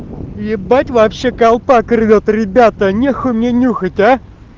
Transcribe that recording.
ебать вообще колпак рвёт ребята нехуй мне меню а